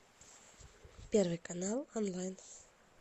первый канал онлайн